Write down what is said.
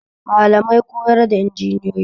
Malamai koyar da injiniyoyi